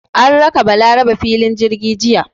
An raka Balarabe filin jirgi jiya.